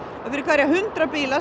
að fyrir hverja hundrað bíla